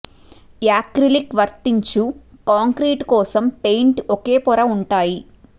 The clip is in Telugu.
యాక్రిలిక్ వర్తించు కాంక్రీటు కోసం పెయింట్ ఒకే పొర ఉంటాయి